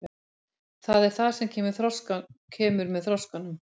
Það er það sem kemur með þroskanum.